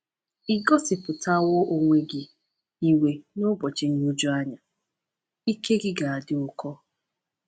“Ì gosipụtawo onwe gị iwe n’ụbọchị nhụjuanya? Ike gị ga-adị ụkọ.”